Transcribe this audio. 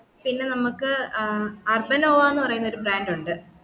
പിന്ന നമ്മക്ക് ആഹ് അർബാനോവാന്ന് പറയുന്ന ഒരു brand ഉണ്ട്